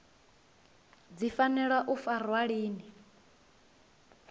dzi fanela u farwa lini